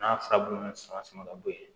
N'a furabulu sama sama ka bɔ ye